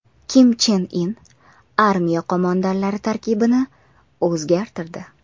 Kim Chen In armiya qo‘mondonlari tarkibini o‘zgartirdi.